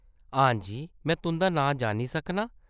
हां जी। में तुंʼदा नांऽ जानी सकनां ?